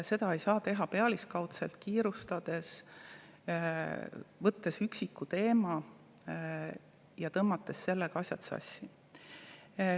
Seda ei saa teha pealiskaudselt ja kiirustades, võttes ühe üksiku teema ja sellega asjad sassi.